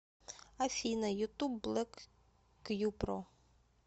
афина ютуб блэк кьюпро